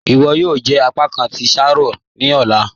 "Iwọ yóò jẹ apàkán tí ṣáárọ̀ ní ọ̀lá."